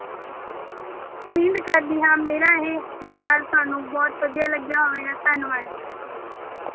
ਉਮੀਦ ਕਰਦੀ ਹਾਂ ਮੇਰਾ ਇਹ ਵਿਚਾਰ ਤੁਹਾਨੂੰ ਬਹੁਤ ਵਧੀਆ ਲੱਗਿਆ ਹੋਵੇਗਾ, ਧੰਨਵਾਦ।